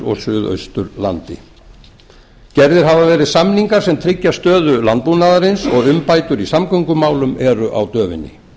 og suðausturlandi gerðir hafa verið samningar sem tryggja stöðu landbúnaðarins og umbætur í samgöngumálum eru á döfinni